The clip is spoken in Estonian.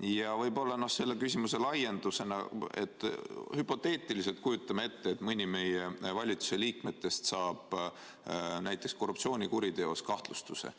Võib-olla selle küsimuse laiendusena, hüpoteetiliselt, kujutame ette, et mõni meie valitsuse liikmetest saab näiteks korruptsioonikuriteos kahtlustuse